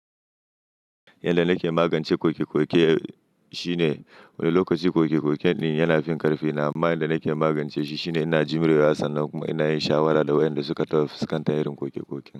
Yanda nake magance koke-koke shine wani lokaci koke-koke din yana fin karfina, amma yanda nake magance shi shine ina jimre wa sannan kuma ina yin shawara da wa'yanda suka taso tayarin koke-koke.